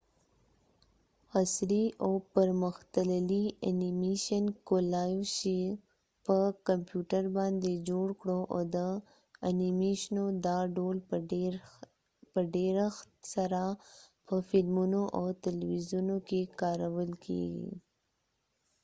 عصری او پر مختللی انیمیشن کولای شو په کمپیوټر باندي جوړ کړو او د انیمیشنو دا ډول په ډیرښت سره په فلمونو او تلويزیون کې کارول کېږی